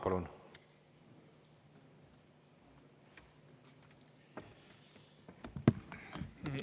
Palun!